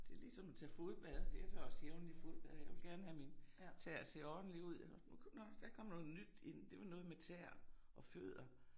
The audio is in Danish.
Det ligesom at tage fodbad jeg tager også jævnligt fodbad jeg vil gerne have mine tæer ser ordentlige ud. Nu kom nåh der kom noget nyt ind det var noget med tæer og fødder